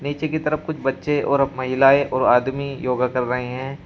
निचे की तरफ कुछ बच्चे और महिलाएं और आदमी योगा कर रहे हैं।